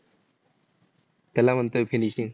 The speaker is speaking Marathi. त्याला म्हणतोय finishing